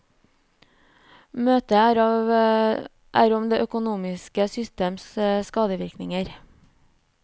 Møtet er om det økonomiske systems skadevirkninger.